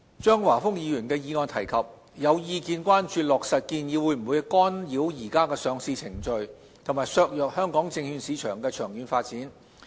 張華峰議員的議案提及，有意見關注落實建議會否干擾現時的上市程序及削弱香港證券市場的長遠發展。